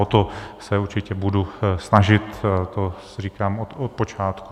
O to se určitě budu snažit, to říkám od počátku.